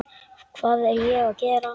Hvað er ég að gera?